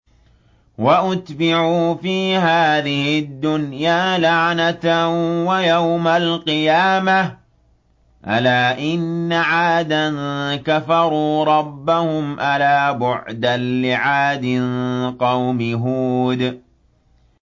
وَأُتْبِعُوا فِي هَٰذِهِ الدُّنْيَا لَعْنَةً وَيَوْمَ الْقِيَامَةِ ۗ أَلَا إِنَّ عَادًا كَفَرُوا رَبَّهُمْ ۗ أَلَا بُعْدًا لِّعَادٍ قَوْمِ هُودٍ